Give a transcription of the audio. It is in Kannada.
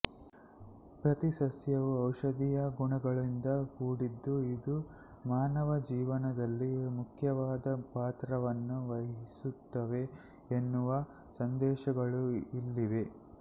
ಪ್ರತೀ ಸಸ್ಯವು ಔಷಧೀಯ ಗುಣಗಳಿಂದ ಕೂಡಿದ್ದು ಇದು ಮಾನವನ ಜೀವನದಲ್ಲಿ ಮುಖ್ಯವಾದ ಪಾತ್ರವನ್ನು ವಹಿಸುತ್ತವೆ ಎನ್ನುವ ಸಂದೇಶಗಳು ಇಲ್ಲಿವೆ